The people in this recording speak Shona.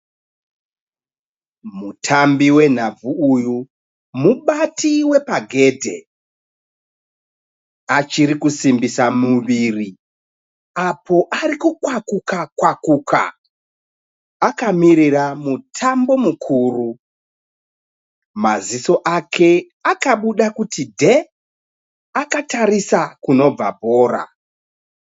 Mutambi wenhabvu uyu mubati wepagedhe. Achiri kusimbisa muviri apo ari kukwakuka kwakuka. Akamirira mutambo mukuru. Maziso ake akabuda kuti dhee akatarisa kunobva bhora.